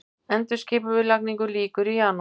Endurskipulagningu lýkur í janúar